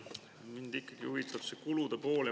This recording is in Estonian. Mind ikkagi huvitab see kulude pool.